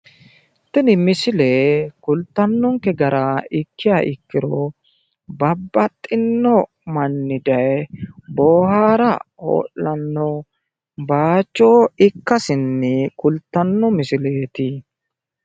tini misile kultanonke gara ikkiha ikkiro babaxinno manni daye boohaara hoo'lano base ikkase kultanno misileeti.